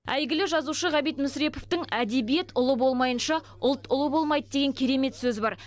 әйгілі жазушы ғабит мүсіреповтің әдебиет ұлы болмайынша ұлт ұлы болмайды деген керемет сөзі бар